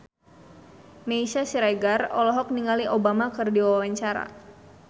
Meisya Siregar olohok ningali Obama keur diwawancara